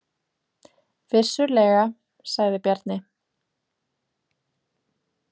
Vissulega, sagði Bjarni.